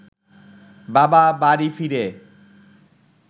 বাবা বাড়ি ফিরে